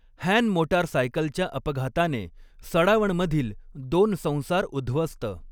हॅनमोटारसायकलच्या अपघाताने सडावणमधील दोन संसार उध्वस्त